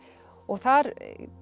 og þar